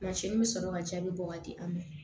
Mansin bɛ sɔrɔ ka jaabi bɔ ka di an ma